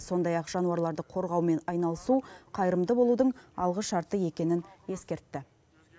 сондай ақ жануарларды қорғаумен айналысу қайырымды болудың алғы шарты екенін ескертті